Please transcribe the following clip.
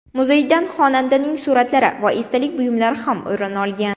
Muzeydan xonandaning suratlari va esdalik buyumlari ham o‘rin olgan.